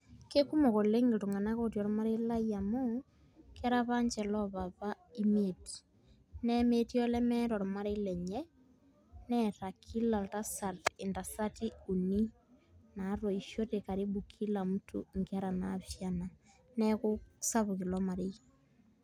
Kekumok oleng' iltung'anak otii ormarei lai amu, kera apa nche lopapa imiet. Nemetii olemeeta ormarei lenye, neeta kila oltasat intasati uni natoishote karibu kila mtu inkera naapishana. Neeku sapuk ilo marei.